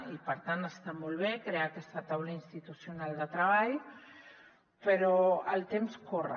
i per tant està molt bé crear aquesta taula institucional de treball però el temps corre